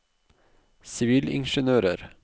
sivilingeniører